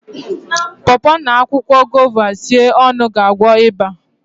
paw paw na akwụkwọ guava sie ọnụ ga-agwọ ịba